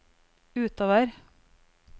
utover